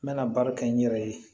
N mɛna baara kɛ n yɛrɛ ye